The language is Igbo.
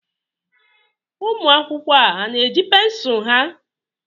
Ụmụ akwụkwọ a na-eji pensụl ha?